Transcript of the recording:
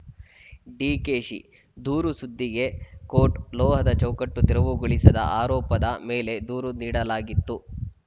ಡಿಕೆಶಿದೂರು ಸುದ್ದಿಗೆ ಕೋಟ್‌ ಲೋಹದ ಚೌಕಟ್ಟು ತೆರವುಗೊಳಿಸದ ಆರೋಪದ ಮೇಲೆ ದೂರು ನೀಡಲಾಗಿತ್ತು